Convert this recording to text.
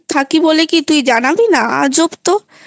বলে কী তুই জানাবি না আজব তো